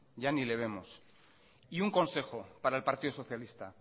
ya ni le vemos y un consejo para el partido socialista